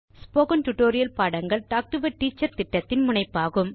spoken tutorial பாடங்கள் talk to a teacher திட்டத்தின் முனைப்பாகும்